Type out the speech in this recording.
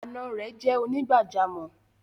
Ànà rẹ̀ jẹ́ onígbàjàmọ́.